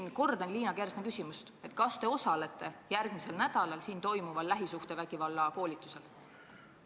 Ma kordan Liina Kersna küsimust: kas te osalete järgmisel nädalal siin toimuval lähisuhtevägivalla koolitusel?